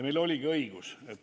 Meil oligi õigus.